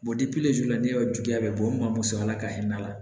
sufɛla n'i y'a jigi a bɛ bɔ n'a ma mɔ sa ala ka hinɛ n'a la